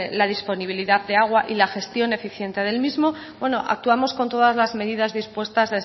la disponibilidad de agua y la gestión eficiente del mismo actuamos con todas las medidas dispuestas